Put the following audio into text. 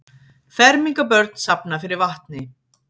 Fermingarbörn safna fyrir vatni